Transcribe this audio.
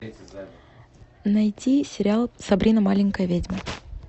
найти сериал сабрина маленькая ведьма